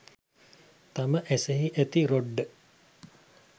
තම ඇසෙහි ඇති රොඩ්ඩ